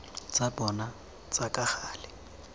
tsa bona tsa ka gale